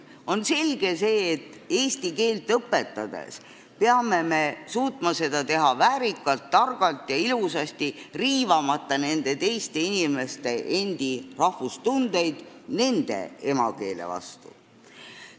On selge, et eesti keelt õpetades peame suutma seda teha väärikalt, targalt ja ilusasti, riivamata teiste inimeste rahvustundeid nende endi emakeele vastu.